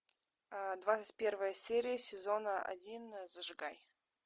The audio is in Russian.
двадцать первая серия сезона один зажигай